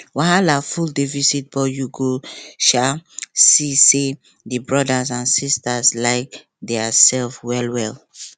wahala full the visit but you go um see say the brothers and sisters like dia sef well well